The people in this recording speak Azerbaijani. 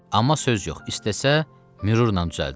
Amma söz yox, istəsə, mürürlə düzəldər.